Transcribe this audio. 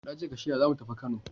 Na ce ka shirya za mu tafi Kano!